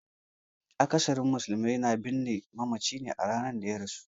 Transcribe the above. Akasarin musulmai na binne mamaci a ranar da ya rasu.